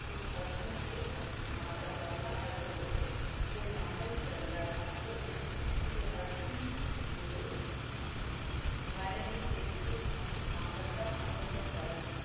குரு அர்ஜுன் தேவ் மற்றும் மாதா கங்கா ஆகியோருக்கு ஒரு மகன் பிறந்தார். அப்போது குரு அர்ஜுன் குரு வடலி தேக்கு மற்றும் மாவட்டம் அமைத்து தர.